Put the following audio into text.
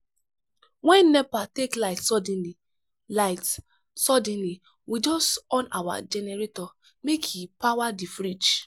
wen nepa take light suddenly light suddenly we just on our generator make e power di fridge.